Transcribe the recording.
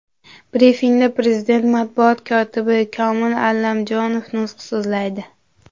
Brifingda Prezident matbuot kotibi Komil Allamjonov nutq so‘zlaydi.